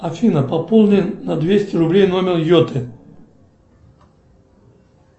афина пополни на двести рублей номер йоты